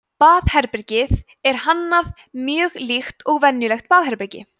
baðherbergið er hannað mjög líkt og venjulegt baðherbergi